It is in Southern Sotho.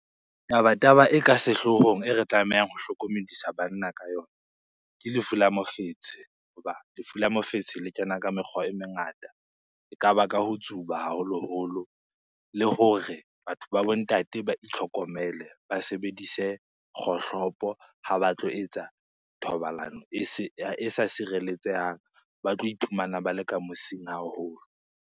Taba-taba e ka sehloohong e re tlamehang ho hlokomedisa banna ka yona, ke lefu la mofetshe. Hoba lefu la mofetshe le kena ka mekgwa e mengata ekaba ka ho tsuba haholoholo le hore batho ba bo ntate ba itlhokomele. Ba sebedise kgohlopo ha ba tlo etsa thobalano e sa sireletsehang, ba tlo iphumana ba le ka mosing haholo.